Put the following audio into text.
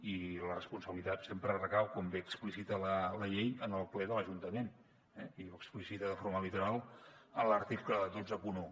i la responsabilitat sempre recau com bé explicita la llei en el ple de l’ajuntament eh i ho explicita de forma literal en l’article cent i vint un